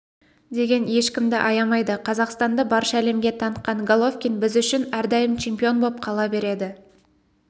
деген ешкімді аямайды қазақстанды барша әлемге танытқан головкин біз үшін әрдайым чемпион боп қала береді